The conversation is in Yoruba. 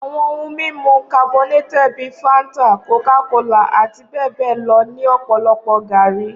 Awọn ohun mimu carbonated bi fanta, Coca-Cola, ati bẹbẹ lọ ni ọpọlọpọ gaari.